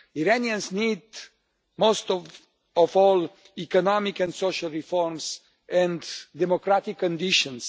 Iranians need, most of all, economic and social reforms and democratic conditions.